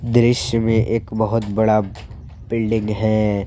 दृश्य में एक बहुत बड़ा बिल्डिंग है।